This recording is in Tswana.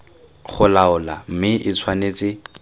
go laola mme e tshwanetse